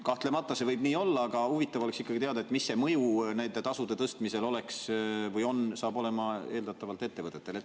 " Kahtlemata võib see nii olla, aga huvitav oleks ikkagi teada, mis see nende tasude tõstmise eeldatav mõju ettevõtetele oleks või hakkaks olema.